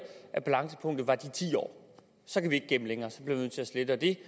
at balancepunktet er de ti år så kan vi ikke gemme længere så bliver vi nødt til at slette det